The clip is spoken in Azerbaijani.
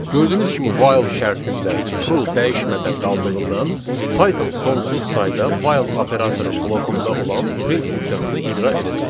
Gördüyünüz kimi while şərtində true dəyişmədən qaldığından, Python sonsuz sayda while operatorunun blokunda olan print funksiyasını icra edəcək.